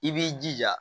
I b'i jija